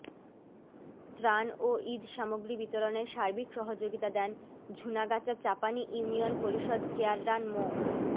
ত্রান ও ঈদ সামগ্রী বিতরণে সার্বিক সহযোগিতা দেন ঝুনাগাচা চাপানি ইউনিয়ন পরিষদ চেয়াররান মো